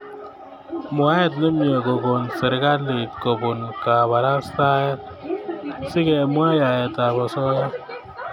mwaet nemiee kokon serikslit kopun kaparastaet ,si kumwaa yaet ap osoya